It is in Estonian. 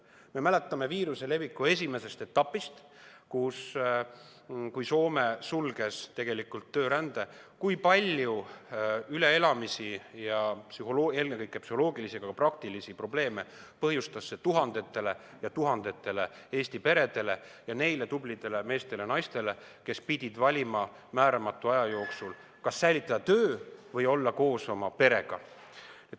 Me mäletame viiruse leviku esimesest etapist, kui Soome sulges tegelikult töörände, kui palju üleelamisi ja ennekõike psühholoogilisi, aga ka praktilisi probleeme põhjustas see tuhandetele ja tuhandetele Eesti peredele ja neile tublidele meestele ja naistele, kes pidid valima määramatuks ajaks, kas säilitada töö või olla koos oma perega.